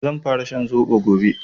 Zan fara shan zobo gobe